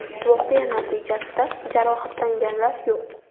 Voqea natijasida jarohatlanganlar yo‘q.